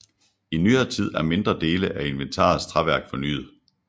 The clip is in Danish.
I nyere tid er mindre dele af inventarets træværk fornyet